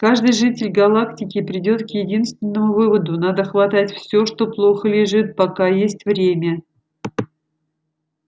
каждый житель галактики придёт к единственному выводу надо хватать всё что плохо лежит пока есть время